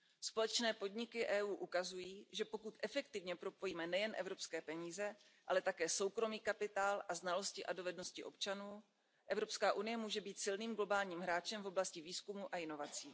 Společné podniky EU ukazují, že pokud efektivně propojíme nejen evropské peníze, ale také soukromý kapitál a znalosti a dovednosti občanů, Evropská unie může být silným globálním hráčem v oblasti výzkumu a inovací.